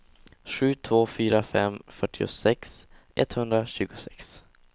sju två fyra fem fyrtiosex etthundratjugosex